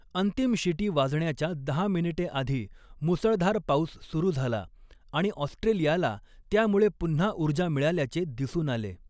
अंतिम शिटी वाजण्याच्या दहा मिनिटे आधी मुसळधार पाऊस सुरू झाला आणि ऑस्ट्रेलियाला त्यामुळे पुन्हा ऊर्जा मिळाल्याचे दिसून आले.